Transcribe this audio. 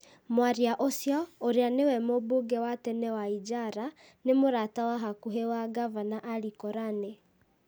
Mwaria ũcio, ũrĩa nĩwe mũmbunge wa tene wa Ijara, nĩ mũrata wa hakuhĩ wa Ngavana Ali Korane.